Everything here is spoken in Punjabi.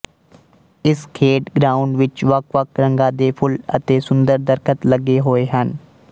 ਇਸ ਖੇਡ ਗਰਾਉਂਡ ਵਿੱਚ ਵੱਖਵੱਖ ਰੰਗਾਂ ਦੇ ਫੁੱਲ ਅਤੇ ਸੁੰਦਰ ਦਰਖ਼ੱਤ ਲੱਗੇ ਹੋਏ ਹਨ